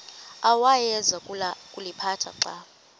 awayeza kuliphatha xa